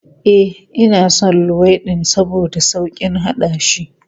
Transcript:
E, ina son luwaiɗin saboda sauƙin haɗashi.